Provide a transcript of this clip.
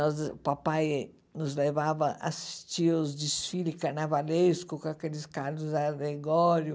Nós, o papai nos levava a assistir aos desfiles carnavalescos com aqueles carros alegóricos.